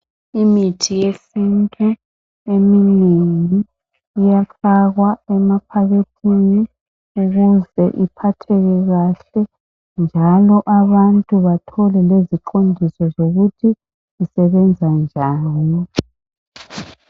Imithi yesintu eminengi iyafakwa emaphakethini ukuze iphatheke kahle njalo abantu bathole leziqondiso zokuthi isebenza njani.